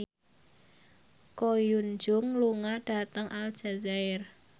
Ko Hyun Jung lunga dhateng Aljazair